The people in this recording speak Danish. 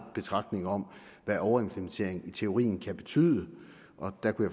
betragtning om hvad overimplementering i teorien kan betyde og der kunne